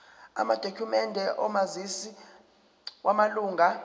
amadokhumende omazisi wamalunga